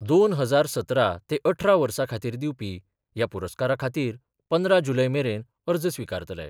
दोन हजार सतरा ते अठरा वर्सा खातीर दिवपी ह्या पुरस्कारा खातीर पंदरा जुलय मेरेन अर्ज स्विकारतले.